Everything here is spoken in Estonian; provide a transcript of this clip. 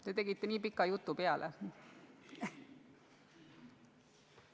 Ta rääkisite nii pika jutu pärast seda.